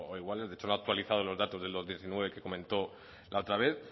igual de hecho no ha actualizado los datos del dos mil diecinueve que comentó la otra vez